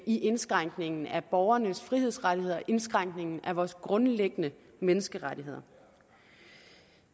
i indskrænkningen af borgernes frihedsrettigheder indskrænkningen af vores grundlæggende menneskerettigheder